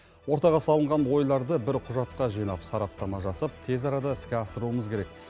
ортаға салынған ойларды бір құжатқа жинап сараптама жасап тез арада іске асыруымыз керек